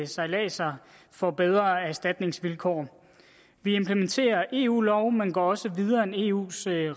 sejladser får bedre erstatningsvilkår vi implementerer eu lov men går også videre end eus